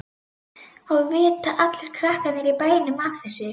Og vita allir krakkarnir í bænum af þessu?